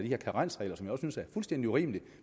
her karensregler som jeg synes er fuldstændig urimelige